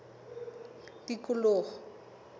tikoloho